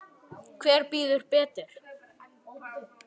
Hver býður betur?